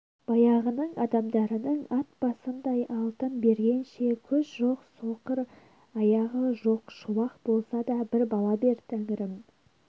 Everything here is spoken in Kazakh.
баяғының адамдарының ат басындай алтын бергенше көз жоқ соқыр аяғы жоқ шолақ болса да бір бала бер тәңірім